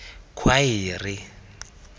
khwaere